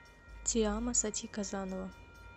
ти амо сати казанова